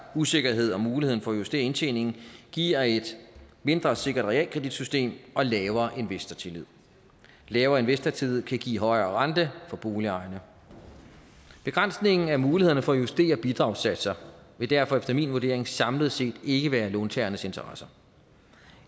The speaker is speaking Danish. usikkerhed om muligheden for at justere indtjeningen giver et mindre sikkert realkreditsystem og lavere investortillid lavere investortillid kan give højere rente for boligejerne begrænsning af mulighederne for at justere bidragssatser vil derfor efter min vurdering samlet set ikke være i låntagernes interesse